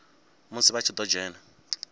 musi vha tshi ḓo dzhena